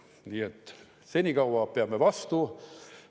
Nii et senikaua peame vastu.